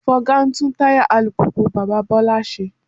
Fọga ń tún táyà alùpùpù bàbá Bọ́lá ṣe